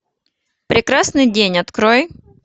прекрасный день открой